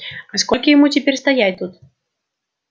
а сколько ему теперь стоять тут